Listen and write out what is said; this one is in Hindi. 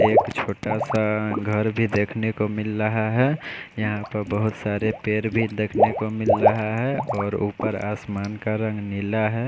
एक छोटा सा घर भी दिखने को मिल रहा है यहाँ पर बहोत सारे पेड़ भी देखने को मिल रहा है और ऊपर आसमान का रंग नीला है।